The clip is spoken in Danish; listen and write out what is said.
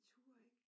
I turde ikke